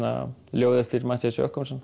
ljóði Matthías